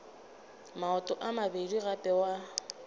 maoto a mabedi gape wa